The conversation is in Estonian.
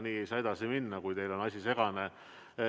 Nii ei saa edasi minna, kui teile on asi segane.